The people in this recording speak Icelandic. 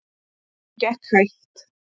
Hún gekk hægt.